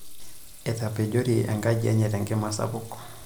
Etapejori enkaji enye tenkima sapuk.